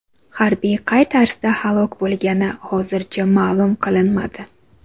Harbiy qay tarzda halok bo‘lgani hozircha ma’lum qilinmadi.